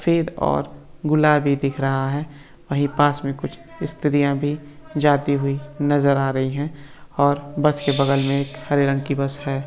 Fade और गुलाबी दिख रहा है वही पास मे कुछ इस्त्रीया भी जाती हुई नजर आ रही है और बस के बगल मै एक हरे रंग की बस हैं।